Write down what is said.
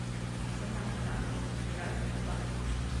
цена франков в разных банках